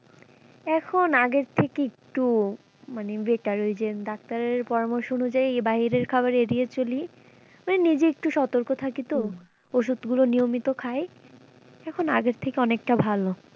এখন আগের থেকে একটু মানে better ওই যে ডাক্তারের পরামর্শ অনুযায়ী এই বাহিরের খাওয়ার এড়িয়ে চলি মানে নিজে একটু সতর্ক থাকি তো ওষুধ গুলো নিয়মিত খাই এখন আগের থেকে অনেক টা ভালো।